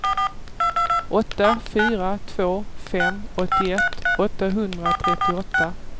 åtta fyra två fem åttioett åttahundratrettioåtta